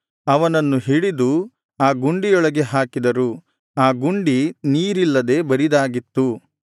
ಅವನನ್ನು ಹಿಡಿದು ಆ ಗುಂಡಿಯೊಳಗೆ ಹಾಕಿದರು ಆ ಗುಂಡಿ ನೀರಿಲ್ಲದೆ ಬರಿದಾಗಿತ್ತು